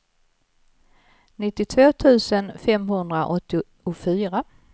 nittiotvå tusen femhundraåttiofyra